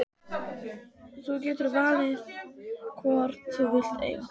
Þú getur valið hvorn þú vilt eiga.